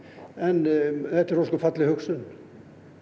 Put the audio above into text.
en þetta er ósköp falleg hugsun